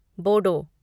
Bodo